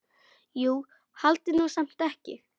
Jú, haldiði nú samt ekki.